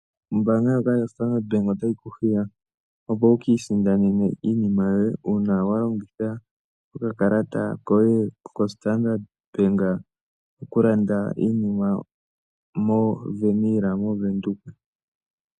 Ombaanga ndjoka yoStandrd bank otayi ku hiya kutya uuna wa hala oku isindanena iinima yoye uuna wa longitha okakalata yoStandard bank oto vulu okulanda iinima mo Veniila moVenduka .